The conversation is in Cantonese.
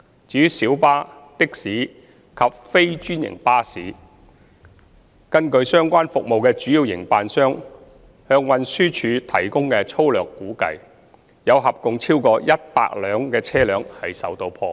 至於小巴、的士及非專營巴士，據相關服務的主要營辦商向運輸署提供的粗略估算，有合共超過100輛車輛受到破壞。